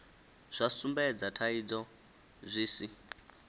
zwa sumbedza thaidzo zwi si